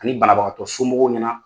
Ani banabagatɔ somɔgɔw ɲɛna.